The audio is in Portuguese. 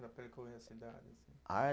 Para percorrer a cidade assim. Ah